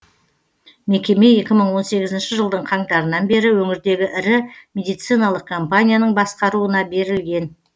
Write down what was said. мекеме екі мың он сегізінші жылдың қаңтарынан бері өңірдегі ірі медициналық компанияның басқаруына берілген